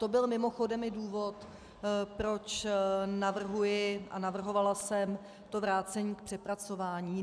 To byl mimochodem i důvod, proč navrhuji a navrhovala jsem to vrácení k přepracování.